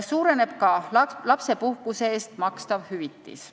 Suureneb ka lapsepuhkuse eest makstav hüvitis.